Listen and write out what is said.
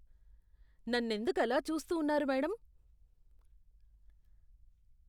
నన్నెందుకు అలా చూస్తూ ఉన్నారు మేడం?